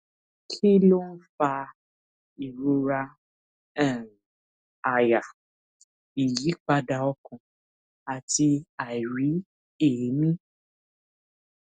kí ló ń fa ìrora um àyà ìyípadà ọkàn àti àìrí èmí